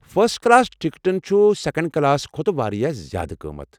First class ٹکٹن چھٗ second class کھۄتہٕ واریاہ زیٛادٕ قٲمتھ ۔